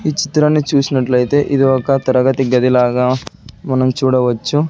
ఈ చిత్రాన్ని చూసినట్లయితే ఇది ఒక తరగతి గది లాగా మనం చూడవచ్చు.